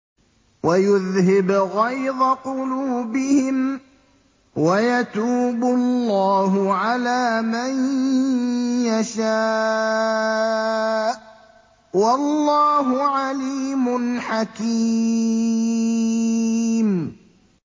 وَيُذْهِبْ غَيْظَ قُلُوبِهِمْ ۗ وَيَتُوبُ اللَّهُ عَلَىٰ مَن يَشَاءُ ۗ وَاللَّهُ عَلِيمٌ حَكِيمٌ